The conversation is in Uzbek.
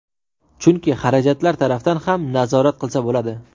Chunki xarajatlar tarafdan ham nazorat qilsa bo‘ladi.